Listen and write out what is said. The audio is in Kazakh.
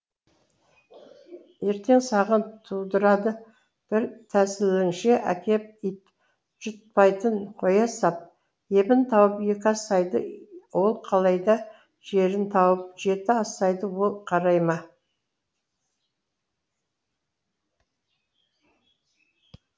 ертең саған тудырады бір тәсілішіңе әкеп ит жұтпайтын қоя сап ебін тауып екі асайды ол қалайда жерін тауып жеті асайды ол қарай ма